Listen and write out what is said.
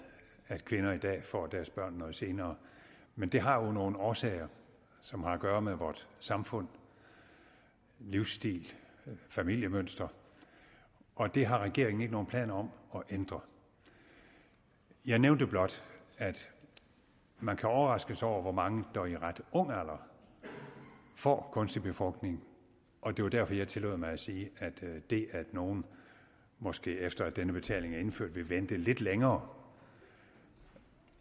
at kvinder i dag får deres børn noget senere men det har jo nogle årsager som har at gøre med vores samfund livsstil familiemønster og det har regeringen ikke nogen planer om at ændre jeg nævnte blot at man kan overraskes over hvor mange der i en ret ung alder får kunstig befrugtning og det var derfor jeg tillod mig at sige at det at nogle måske efter at denne betaling er indført vil vente lidt længere